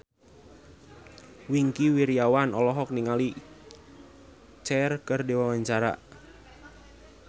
Wingky Wiryawan olohok ningali Cher keur diwawancara